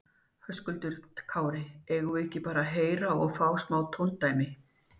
Höskuldur Kári: Eigum við ekki bara að heyra og fá smá tóndæmi?